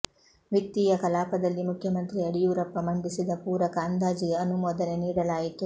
ವಿತ್ತೀಯ ಕಲಾಪದಲ್ಲಿ ಮುಖ್ಯಮಂತ್ರಿ ಯಡಿಯೂರಪ್ಪ ಮಂಡಿಸಿದ ಪೂರಕ ಅಂದಾಜಿಗೆ ಅನುಮೋದನೆ ನೀಡಲಾಯಿತು